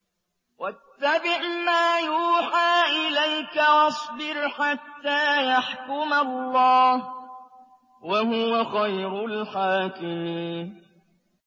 وَاتَّبِعْ مَا يُوحَىٰ إِلَيْكَ وَاصْبِرْ حَتَّىٰ يَحْكُمَ اللَّهُ ۚ وَهُوَ خَيْرُ الْحَاكِمِينَ